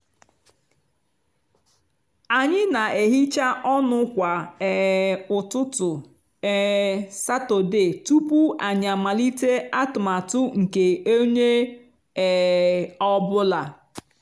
anyị na-ehicha ọnụ kwa um ụtụtụ um satọde tupu anyị amalite atụmatụ nke onye um ọ bụla